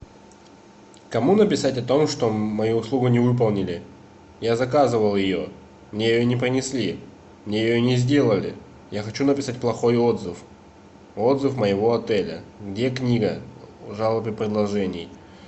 кому написать о том что мою услугу не выполнили я заказывал ее мне ее не принесли мне ее не сделали я хочу написать плохой отзыв отзыв моего отеля где книга жалоб и предложений